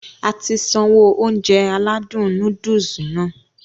Ati sanwó Ounjẹ aládùn nóódùsì Nàá